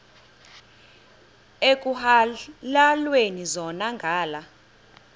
ekuhhalelwana zona ngala